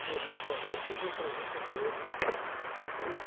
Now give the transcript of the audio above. Fui ao Rio de Janeiro, fiz uma entrevista com ele de, da revista.